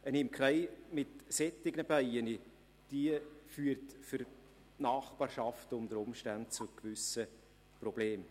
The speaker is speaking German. Eine Imkerei mit solchen Bienen führt für die Nachbarschaft unter Umständen zu gewissen Problemen.